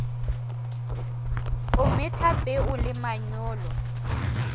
o metha peo le manyolo